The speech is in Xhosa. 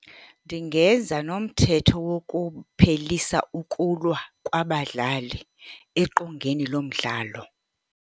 Ndingeza nomthetho wokuphelisa ukulwa kwabadlali eqongeni lo mdlalo.